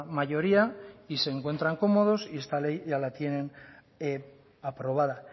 mayoría se encuentran cómodos y esta ley ya la tienen aprobada